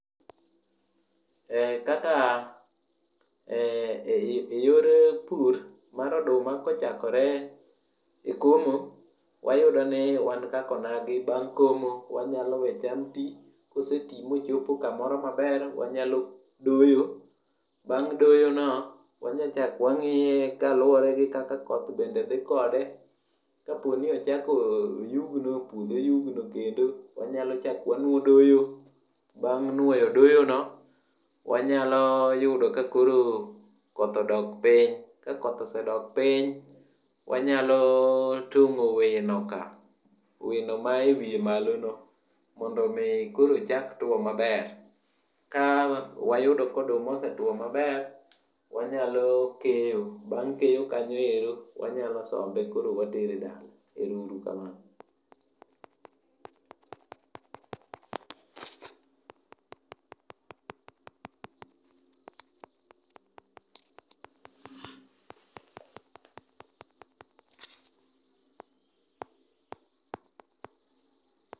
En kaka yor pur mar oduma kochakore e komo wayudoni, wan kaka onagi bang' komo to wanyalo we cham ti, koseti mochopo kamoro maber wanyalo doyo, bang' doyono to wanyalo chako wang'iye kaluwore gi kaka koth bende dhi kode. Kapo ni ochako oyugno, puodho oyugno kendo, bang' nwoyo doyono, wanyalo yudo kakoro koth odok piny. Ka koth osedok piny wanyalo tong'o winoka, wino ma ewiye malono, mondo omi koro ochak tuwo maber. Ka wayudo ka oduma osetwo maber, wanyalo keyo. Bang' keyo kanyo ero, wanyalo sombe koro watere dala. Ero uru kamano.